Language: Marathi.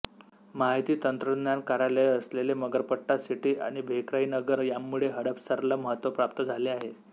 माहिती तंत्रज्ञान कार्यालये असलेले मगरपट्टा सिटी आणि भेकराईनगर यांमुळे हडपसरला महत्त्व प्राप्त झाले आहे